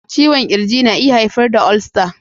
Ciwon ƙirji na iya haifar da ulcer.